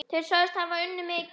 Þeir sögðust hafa unnið mikið.